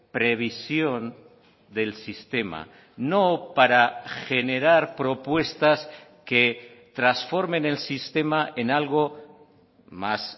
previsión del sistema no para generar propuestas que transformen el sistema en algo más